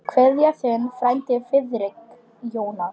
Kveðja, þinn frændi Friðrik Jónas.